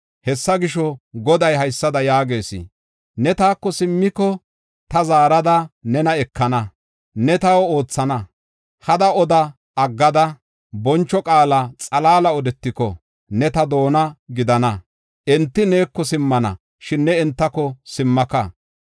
Hessa gisho, Goday haysada yaagees: “Ne taako simmiko, ta zaarada nena ekana; ne taw oothana. Hada oda aggada, boncho qaala xalaala odetiko, ne ta doona gidana. Enti neeko simmana; shin ne entako simmaka.